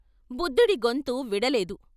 బుద్ధుడి గొంతు విడలేదు.